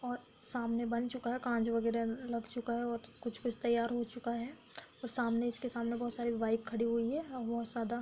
और सामने बन चुका है काँच वगैरा लग चुका है और कुछ-कुछ तैयार हो चुका है और सामने इसके सामने बहुत सारी बाइक खड़ी हुई है --